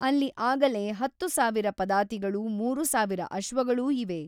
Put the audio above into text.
ಅಲ್ಲಿ ಆಗಲೇ ಹತ್ತು ಸಾವಿರ ಪದಾತಿಗಳೂ ಮೂರುಸಾವಿರ ಅಶ್ವಗಳೂ ಇವೆ.